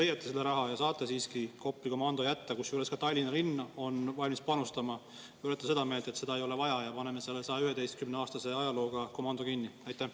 Kas leiate selle raha ja saate siiski Kopli komando alles jätta, kusjuures ka Tallinna linn on valmis panustama, või olete seda meelt, et seda ei ole vaja ja paneme 111-aastase ajalooga komando kinni?